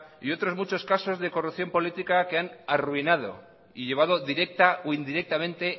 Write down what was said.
y otros muchos casos de corrupción política que han arruinado y llevado directa o indirectamente